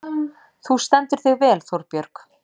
Þú stendur þig vel, Þórbjörg!